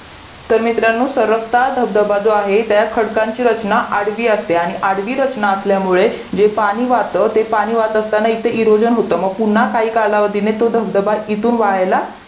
तर मित्रांनो सरकता धबधबा जो आहे तर खडकांची रचना आडवी असते आणि आडवी रचना असल्यामुळे जे पाणी वाहत ते पाणी वाहत असताना इथं इरोजन होत मग पुन्हा काही कळवधीने तो धबधबा इथून वाहायला